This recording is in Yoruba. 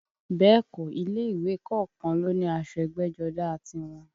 Bẹ́ẹ̀ kọ́, ilé ìwé kọ̀ọ̀kan ló ní aṣọ ẹgbẹ́jọdá a tiwọn